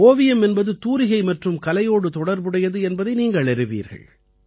ஓவியம் என்பது தூரிகை மற்றும் கலையோடு தொடர்புடையது என்பதை நீங்கள் அறிவீர்கள்